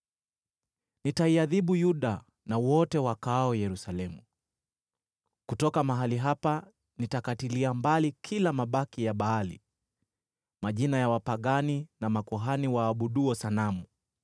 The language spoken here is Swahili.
“Nitaiadhibu Yuda na wote wakaao Yerusalemu. Kutoka mahali hapa nitakatilia mbali kila mabaki ya Baali, majina ya wapagani na makuhani waabuduo sanamu: